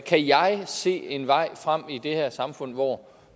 kan jeg se en vej frem i det her samfund hvor